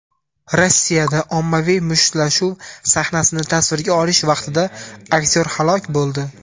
Rossiyada ommaviy mushtlashuv sahnasini tasvirga olish vaqtida aktyor halok bo‘ldi.